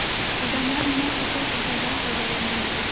Odamlar nima uchun atirdan foydalanadi?